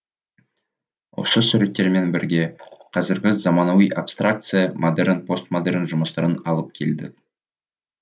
осы суреттермен бірге қазіргі заманауи абстракция модерн постмодерн жұмыстарын алып келдік